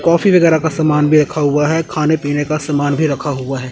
Coffee वगैरह का सामान भी रखा हुआ है खाने पीने का समान भी रखा हुआ हैं।